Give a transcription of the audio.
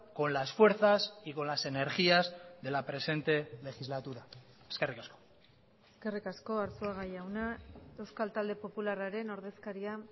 con las fuerzas y con las energías de la presente legislatura eskerrik asko eskerrik asko arzuaga jauna euskal talde popularraren ordezkaria